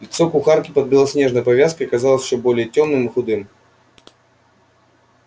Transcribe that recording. лицо кухарки под белоснежной повязкой казалось ещё более тёмным и худым